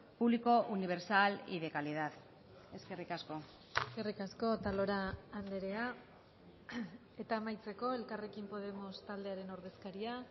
público universal y de calidad eskerrik asko eskerrik asko otalora andrea eta amaitzeko elkarrekin podemos taldearen ordezkaria